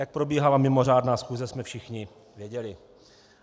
Jak probíhala mimořádná schůze jsme všichni viděli.